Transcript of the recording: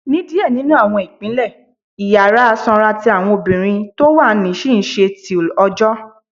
Ni diẹ ninu awọn ipinle, Iyara sanra ti awọn obirin ti wa ni ṣi nṣe till ọjọ.